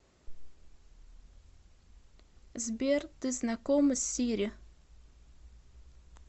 сбер ты знакома с сири